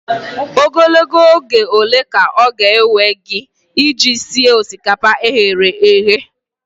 Ogologo oge ole ka ọ ga-ewe gị iji sie osikapa e ghere eghe?